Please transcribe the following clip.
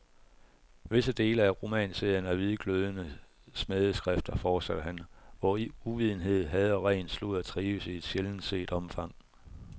Visse dele af romanserien er hvidglødende smædeskrifter, fortsatte han, hvor uvidenhed, had og ren sludder trives i et sjældent set omfang.